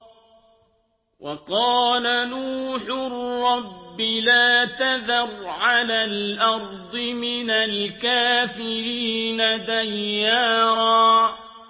وَقَالَ نُوحٌ رَّبِّ لَا تَذَرْ عَلَى الْأَرْضِ مِنَ الْكَافِرِينَ دَيَّارًا